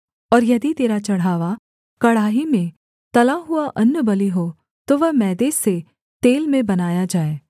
और यदि तेरा चढ़ावा कड़ाही में तला हुआ अन्नबलि हो तो वह मैदे से तेल में बनाया जाए